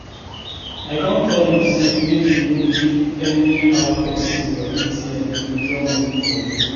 I don tell you say make you no dey give anyhow person your atm to withdraw money for you